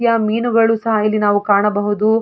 ಯಾ ಮೀನುಗಳು ಸಹ ಇಲ್ಲಿ ನಾವು ಕಾಣಬಹುದು.